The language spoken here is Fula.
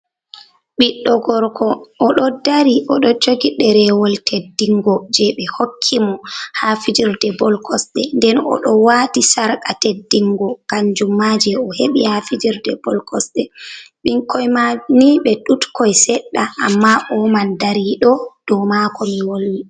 Ɓiɗɗo gorko oɗo dari oɗo jogi derewol teddingo je ɓe hokki mo ha fijerde bol kosɗe, nden oɗo wati sarqa teddingo kanjum ma je o heɓi ha fijerde bol kosɗe, ɓinkoi mai ni ɓe ɗutkoi seɗɗa amma o man dariɗo dou mako mi wolwi.